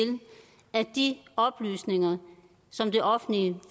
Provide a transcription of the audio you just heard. at de oplysninger som det offentlige